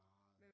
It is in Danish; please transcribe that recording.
Meget